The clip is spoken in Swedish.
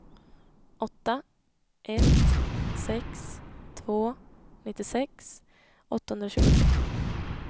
åtta ett sex två nittiosex åttahundratjugotre